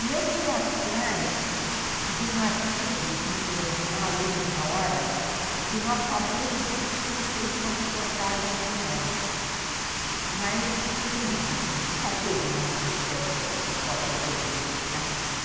E eu fui atrás de um artigo de um jornal, Última Hora, que nós sabíamos que tinham feito uma reportagem com ela, mas não tinha, nunca teve lá na creche a cópia desse artigo.